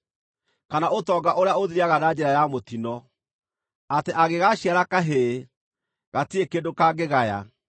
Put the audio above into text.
kana ũtonga ũrĩa ũthiraga na njĩra ya mũtino, atĩ angĩgaaciara kahĩĩ, gatirĩ kĩndũ kangĩgaya.